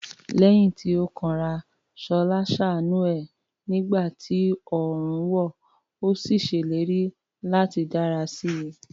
Lẹ́yìn tí ó kanra, Ṣọlá ṣàánú ẹ̀ nígbà tí oòrùn wọ̀, ó sì ṣèlérí láti dára sí i.